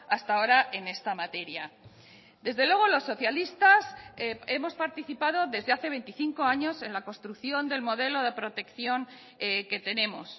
hasta ahora en esta materia desde luego los socialistas hemos participado desde hace veinticinco años en la construcción del modelo de protección que tenemos